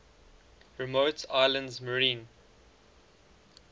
remote islands marine